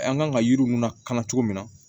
An kan ka yiriw lakana cogo min na